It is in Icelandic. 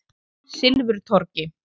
Silfurtorgi